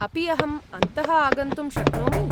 अपि अहम् अन्तः आगन्तुं शक्नोमि?